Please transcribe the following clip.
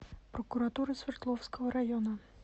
прокуратура свердловского района